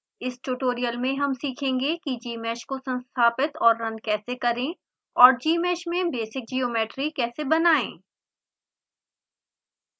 इस tutorial में हम सीखेंगे कि